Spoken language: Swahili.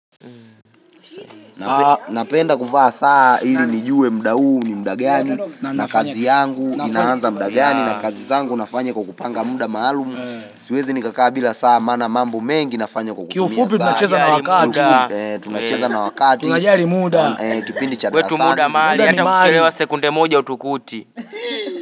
Napenda kuvaa saa ili nijue mda uni mda gani na kazi yangu inahanza mda gani na kazi zangu nafanya kukupanga muda maalumu Siuezi nikakaa bila saa mana mambo mengi nafanya kukumia Kiufupi tunacheza na wakati Tunacheza na wakati Tunajari muda Kipindi chadrasani wetu muda maali Hata kukirewa sekunde moja utukuti.